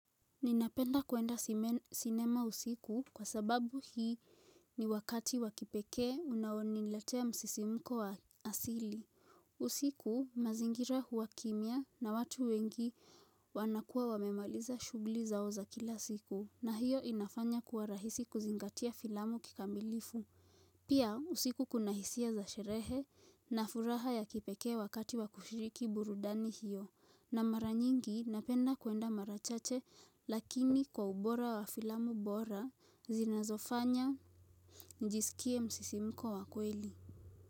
Ninapenda kuenda sinema usiku kwa sababu hii ni wakati wa kipekee unaoniletea msisimko wa asili. Usiku mazingira huwa kimya na watu wengi wanakua wamemaliza shuguli zao za kila siku na hiyo inafanya kuwa rahisi kuzingatia filamu kikamilifu. Pia usiku kuna hisia za sherehe na furaha ya kipekee wakati wa kushiriki burudani hiyo na mara nyingi napenda kuenda mara chache lakini kwa ubora wa filamu bora zinazofanya nijisikie msisimuko wa kweli.